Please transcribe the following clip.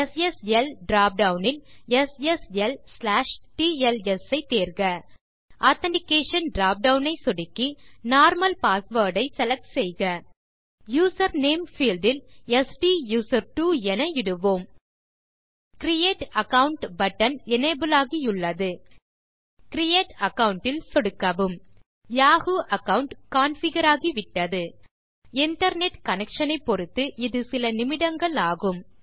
SSL drop down இல் sslடிஎல்எஸ் ஐ தேர்க ஆதென்டிகேஷன் drop டவுன் ஐ சொடுக்கி நார்மல் பாஸ்வேர்ட் ஐ செலக்ட் செய்க யூசர் நேம் பீல்ட் இல் ஸ்டூசர்ட்வோ என இடுவோம் கிரியேட் அகாவுண்ட் பட்டன் எனபிள் ஆகியுள்ளது கிரியேட் அகாவுண்ட் இல் சொடுக்கவும் யாஹூ அகாவுண்ட் கான்ஃபிகர் ஆகிவிட்டது இன்டர்நெட் connectionஐ பொருத்து இது சில நிமிடங்கள் ஆகும்